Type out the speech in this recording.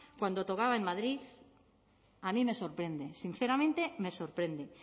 cuando tocaba en madrid a mí me sorprende sinceramente me sorprende